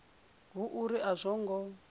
hu uri a zwo ngo